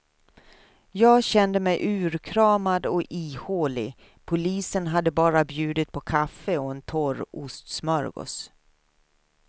Jag kände mig urkramad och ihålig, polisen hade bara bjudit på kaffe och en torr ostsmörgås.